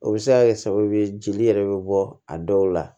O bɛ se ka kɛ sababu ye jeli yɛrɛ bɛ bɔ a dɔw la